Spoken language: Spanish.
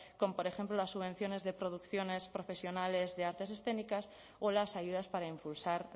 con por ejemplo las subvenciones de producciones profesionales de artes escénicas o las ayudas para impulsar